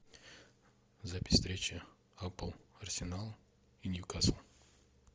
запись встречи апл арсенал и ньюкасл